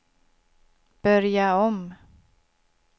börja om